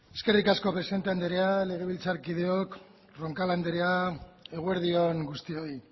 eskerrik asko presidente andrea legebiltzarkideok roncal andrea eguerdi on guztioi